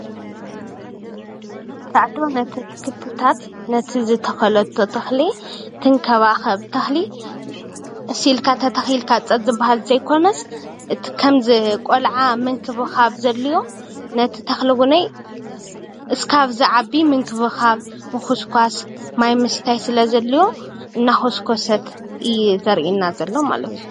እዚ ምስሊ ኣሕምልቲ ገደና ብ ዋናታቶም ክንክን እንዳ ተገበረሎም ዘርኢ እዩ።